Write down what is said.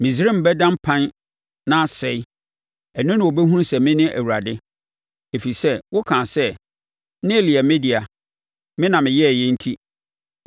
Misraim bɛda mpan na asɛe. Ɛno na wɔbɛhunu sɛ mene Awurade. “ ‘Ɛfiri sɛ wo kaa sɛ, “Nil yɛ me dea; Me na meyɛeɛ,” enti